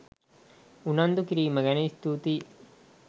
උනන්දු කිරීම ගැන ස්තුතියි